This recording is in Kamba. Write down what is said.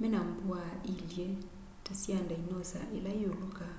mena mbwaa iilye ta sya ndinosa ila iulukaa